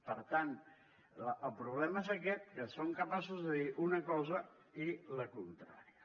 per tant el problema és aquest que són capaços de dir una cosa i la contrària